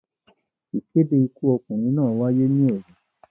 Ìkéde Ikú ọkùnrin náà wáyé ní òru.